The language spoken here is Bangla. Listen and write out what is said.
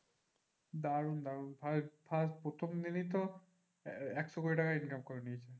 দারুন দারুন আর first প্রথম দিনেই তো একশো কোটি টাকা income করে নিয়েছে।